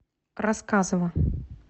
рассказово